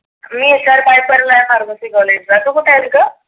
मी college ला तु कुठे आहेस गं?